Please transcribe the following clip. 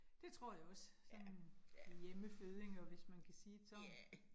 Det tror jeg også, sådan hjemmefødninger, hvis man kan sige det sådan